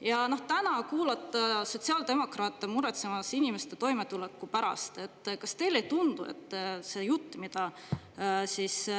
Ja täna kuulata sotsiaaldemokraate muretsemas inimeste toimetuleku pärast – kas teile ei tundu, et see jutt, mida